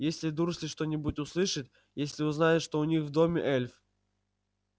если дурсли что-нибудь услышит если узнает что у них в доме эльф